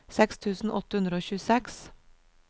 seks tusen åtte hundre og tjueseks